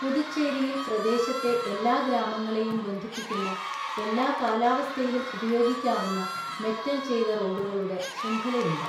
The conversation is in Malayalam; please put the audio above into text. പുതുച്ചേരിയിൽ പ്രദേശത്തെ എല്ലാ ഗ്രാമങ്ങളെയും ബന്ധിപ്പിക്കുന്ന എല്ലാ കാലാവസ്ഥയിലും ഉപയോഗിക്കാവുന്ന മെറ്റൽ ചെയ്ത റോഡുകളുടെ ശൃംഖലയുണ്ട്.